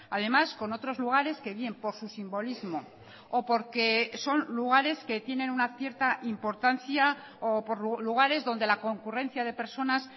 además con otros lugares que bien por su simbolismo o porque son lugares que tienen una cierta importancia o por lugares donde la concurrencia de personas